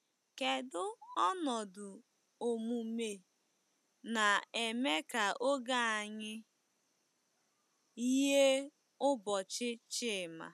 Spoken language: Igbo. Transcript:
Kedu ọnọdụ omume na-eme ka oge anyị yie ụbọchị Chima?